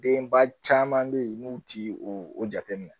Denba caman bɛ yen n'u tɛ o jateminɛ